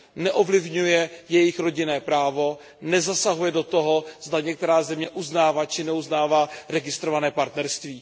Neovlivňuje jejich rodinné právo, nezasahuje do toho, zda některá země uznává či neuznává registrované partnerství.